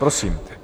Prosím.